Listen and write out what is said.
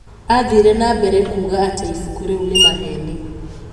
Aathiire na mbere kuuga atĩ ibuku rĩu nĩ 'maheeni.'